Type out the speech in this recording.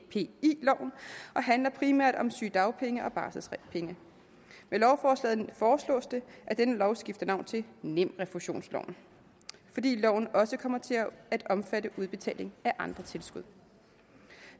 loven og handler primært om sygedagpenge og barselsdagpenge med lovforslaget foreslås det at denne lov skifter navn til nemrefusionsloven fordi loven også kommer til at omfatte udbetaling af andre tilskud